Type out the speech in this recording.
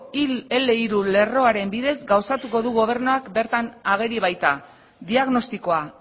lerroaren bidez gauzatuko du gobernuak bertan ageri baita diagnostikoa